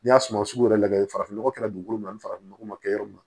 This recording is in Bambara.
N'i y'a suma sugu yɛrɛ lajɛ farafin nɔgɔ kɛra dugukolo min na ni farafinnɔgɔ ma kɛ yɔrɔ min na